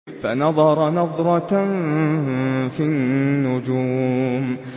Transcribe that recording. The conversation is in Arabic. فَنَظَرَ نَظْرَةً فِي النُّجُومِ